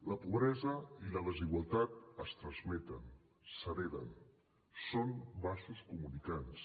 la pobresa i la desigualtat es transmeten s’hereten són vasos comunicants